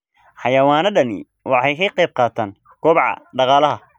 Xayawaanadani waxay ka qayb qaataan kobaca dhaqaalaha.